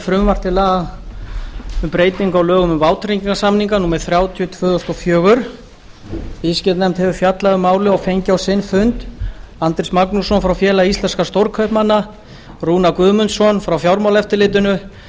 til laga um breyting á lögum um vátryggingarsamninga númer þrjátíu tvö þúsund og fjögur altext s viðskiptanefnd hefur fjallað um málið og fengið á sinn fund andrés magnússon frá félagi íslenskra stórkaupmanna rúnar guðmundsson frá fjármálaeftirlitinu